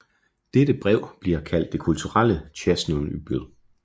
Dette brev bliver ofte kaldt det kulturelle Tsjernobyl